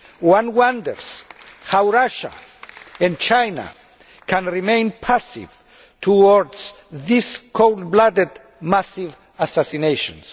One wonders how Russia and China can remain passive towards these cold blooded massive assassinations.